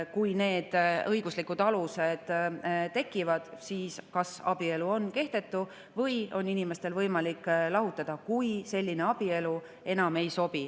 Kui need õiguslikud alused tekivad, siis kas abielu on kehtetu või on inimestel võimalik lahutada, kui selline abielu enam ei sobi.